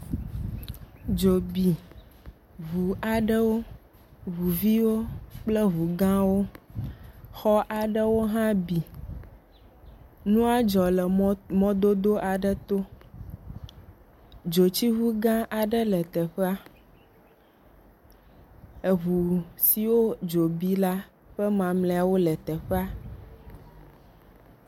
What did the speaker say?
Dzo bi ŋu aɖewo. Ŋu viwo kple ŋu gãwo. Xɔ aɖewo hã bi. Nua dzɔ le mɔdodo aɖe to. Dzotsiŋu gã aɖe le teƒea. Dzo siwo ŋu bi la ƒe mamlɛawo le teƒea.